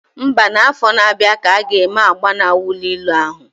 Mba, na afọ na abịa ka aga eme agba na wọlụ ilo ahụ